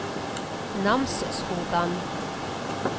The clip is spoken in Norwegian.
Namsskogan